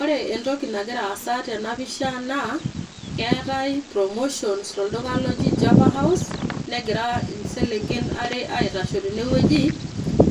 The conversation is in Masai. ore entoki nagira aasa tena pisha naa keetae, promotion tolduka loji java house. negira isenken aitashe tene wueji,